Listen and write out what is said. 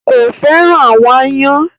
Kò fẹ́ràn àwọn aáyán.